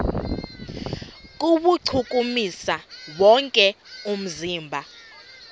kuwuchukumisa wonke umzimba